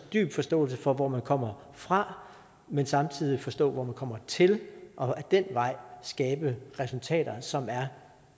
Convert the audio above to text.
dyb forståelse for hvor man kommer fra men samtidig forstå hvor man kommer til og ad den vej skabe resultater som